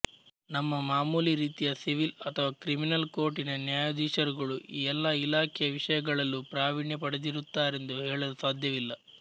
ನಮ್ಮ ಮಾಮೂಲಿ ರೀತಿಯ ಸಿವಿಲ್ ಅಥವಾ ಕ್ರಿಮಿನಲ್ ಕೋರ್ಟಿನ ನ್ಯಾಯಾಧೀಶರುಗಳು ಈ ಎಲ್ಲ ಇಲಾಖೆಯ ವಿಷಯಗಳಲ್ಲೂ ಪ್ರಾವೀಣ್ಯಪಡೆದಿರುತ್ತಾರೆಂದು ಹೇಳಲು ಸಾಧ್ಯವಿಲ್ಲ